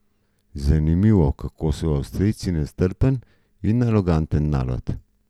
Zanimivo kako so avstrijci nestrpen in aroganten narod.